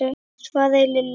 svaraði Lilla.